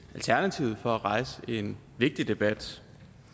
og tak til for at rejse en vigtig debat